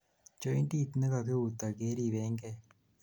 jointit nekakiutoi keribengei